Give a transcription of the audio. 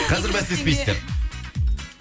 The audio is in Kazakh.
қазір бәстеспейсіздер